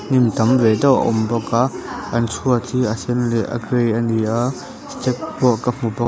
hnim tam ve deuh a awm bawk a an chhuat hi a sen leh a grey a ni a step pawh ka hmu bawk.